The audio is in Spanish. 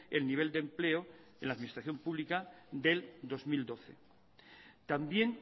el nivel de empleo en la administración pública del dos mil doce también